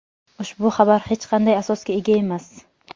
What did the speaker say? Ushbu xabar hech qanday asosga ega emas.